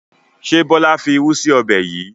Ṣé Bọlá fi irú sì ọbẹ̀ yìí?